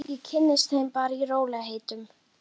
Ég kynnist þeim bara í rólegheitum.